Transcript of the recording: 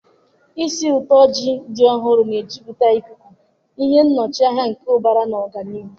ísì ụtọ ji dị ọhụrụ na-ejupụta ikuku, ihe nnọchianya nke ụbara na ọganihu